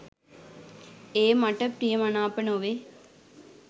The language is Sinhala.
ඒ මට ප්‍රිය මනාප නොවේ.